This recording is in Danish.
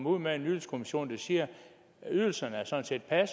ud med en ydelseskommission der siger at ydelserne sådan set er